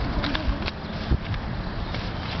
ਕੀ ਕਹਿੰਦੇ ਪੈ।